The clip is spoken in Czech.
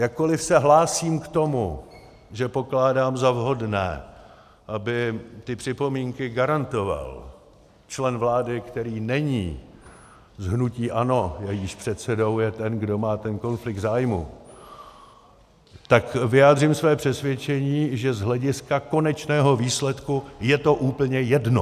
Jakkoliv se hlásím k tomu, že pokládám za vhodné, aby ty připomínky garantoval člen vlády, který není z hnutí ANO, jejíž předsedou je ten, kdo má ten konflikt zájmů, tak vyjádřím své přesvědčení, že z hlediska konečného výsledku je to úplně jedno.